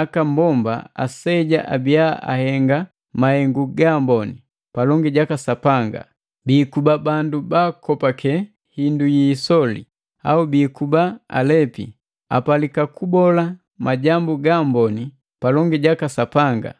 aka mbomba aseja abiya ahenga mahengu ga amboni palongi jaka Sapanga; biikuba bandu baakopake hindu yi isoli au biikuba alepi; Apalika kubola majambu gaamboni palongi jaka Sapanga,